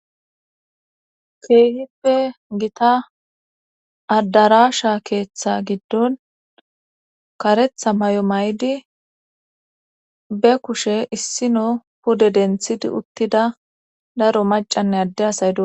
keehippe gita addarasha keeththa giddon karetha mayo maydi be kushe issino pude denthidi uttida daro macanne adde asay dosona